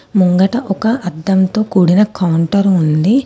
ముంగట ఒక అద్దంతో కూడిన కౌంటర్ ఉంది.